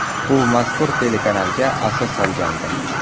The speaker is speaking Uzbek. U mazkur telekanalga asos solgandi.